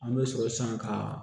An bɛ sɔrɔ san ka